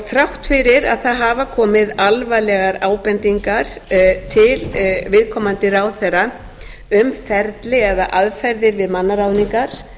þrátt fyrir að það hafa komið alvarlegar ábendingar til viðkomandi ráðherra um ferli eða aðferðir við mannaráðningar